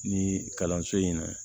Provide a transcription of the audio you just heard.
Ni kalanso in na